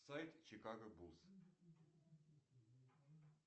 сайт чикаго бус